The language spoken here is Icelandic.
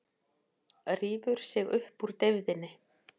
Rífur sig upp úr deyfðinni.